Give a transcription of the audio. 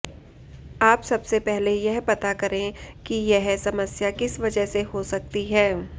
आप सबसे पहले यह पता करें कि यह समस्या किस वजह से हो सकती है